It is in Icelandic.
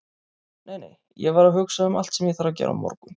Nei, nei, ég var að hugsa um allt sem ég þarf að gera á morgun.